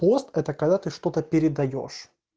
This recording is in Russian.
пост это когда ты что-то передаёшь